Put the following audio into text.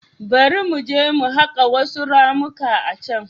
Bari mu je mu haƙa wasu ramuka a can.